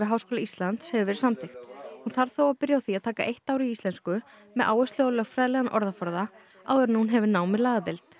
Háskóla Íslands hefur verið samþykkt hún þarf þó að byrja á því að taka eitt ár í íslensku með áherslu á lögfræðilegan orðaforða áður en hún hefur nám við lagadeild